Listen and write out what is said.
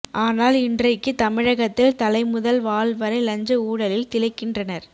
ஆனால் இன்றைக்கு தமிழகத்தில் தலைமுதல் வால் வரை லஞ்ச ஊழலில் திளைக்கின்றனர்